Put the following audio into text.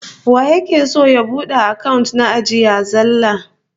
Waye yake son ya bude account na ajiya zallah?